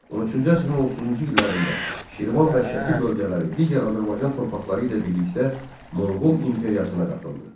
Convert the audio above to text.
13-cü əsrin 30-cu illərində Şirvan və Şəki bölgələri digər Azərbaycan torpaqları ilə birlikdə Monqol imperiyasına qatıldı.